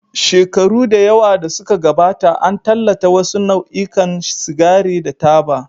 Shekaru da yawa da suka gabata, an tallata wasu nau'ikan sigari da taba.